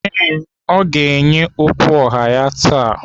Ee, ọ ga-enye okwu ọha ya taa.